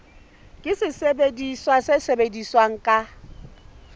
ke sesebediswa se sebetsang ka